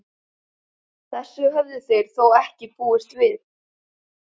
Þessu höfðu þeir þó ekki búist við.